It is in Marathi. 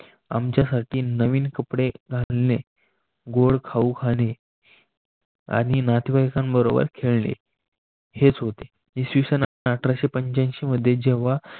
आमच्यासाठी नवीन कपडे घालणे, गोड खाऊ खाणे आणि नातेवाईकांबरोबर खेळणे हेच होते. इसवी सन अठराशेपंच्यांशी मध्ये जेव्हा